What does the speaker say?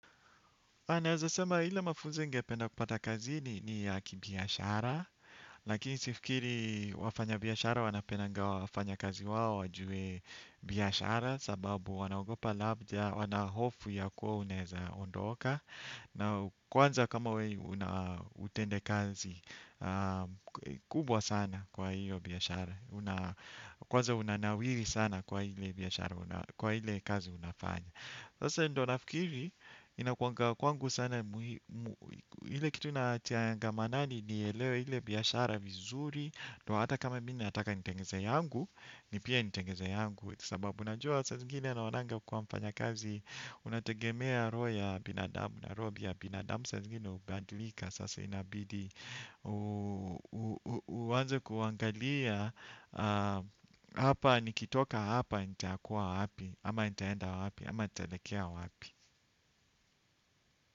Anaweza sema ile mafunzo ningependa kupata kazini ni ya kibiashara, lakini sifikiri wafanyabiashara wanapendanga wafanyakazi wao wajue biashara, sababu wanagopa labda, wanahofu ya kuwa unaweza ondoka, na kwanza kama wewe unautendakazi kubwa sana kwa hiyo biashara, kwanza unanawiri sana kwa ile biashara, kwa ile kazi unafanya. Sasa hiyo ndio nafikiri inakuwanga kwangu sana muhimu, ile kitu nachangamanani nielewe ile biashara vizuri, ndio hata kama mi nataka nitengeze yangu, ni pia nitengeze yangu, sababu najua saa zingine anaonanga kuwa mfanyakazi unategemea roho ya binadamu, na roho pia ya binadamu saa zingine hubadilika sasa inabidi uanze kuangalia hapa nikitoka hapa nitakuwa wapi ama nitaenda wapi ama nitaelekea wapi.